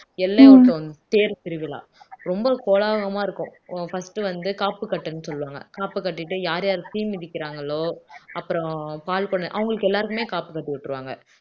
எல்லையூட்டோன் தேர் திருவிழா ரொம்ப கோலாகலமா இருக்கும் first வந்து காப்பு கட்டுன்னு சொல்லுவாங்க காப்பு கட்டீட்டு யார் யார் தீ மிதிக்கிறாங்களோ அப்புறம் பால் குடம் அவங்களுக்கு எல்லாருக்குமே காப்பு கட்டி விட்ருவாங்க